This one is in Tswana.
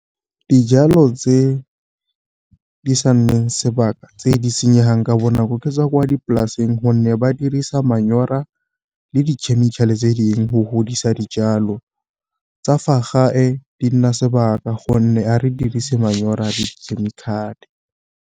Dijalo tse di sa nneng sebaka tse di senyega ka bonako, ke tswa kwa dipolaseng gonne ba dirisa manyora le di chemical-e tse dingwe go godisa dijalo. Tsa fa gae di nna sebaka gonne ga re dirise manyora di chemical-e.